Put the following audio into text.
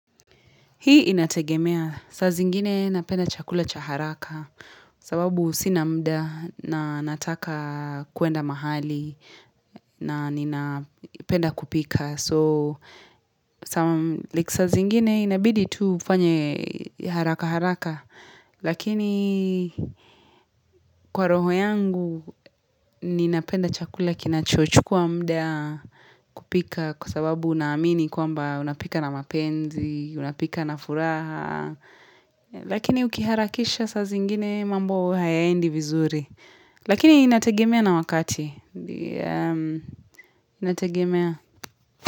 Hii inategemea, saa zingine napenda chakula cha haraka sababu sina muda na nataka kuenda mahali na ninapenda kupika. So, like saa zingine inabidi tu ufanye haraka haraka, lakini kwa roho yangu, ninapenda chakula kinachochukua muda kupika kwa sababu naamini kwamba unapika na mapenzi, unapika na furaha. Lakini ukiharakisha saa zingine mambo hayaendi vizuri. Lakini inategemea na wakati. Inategemea.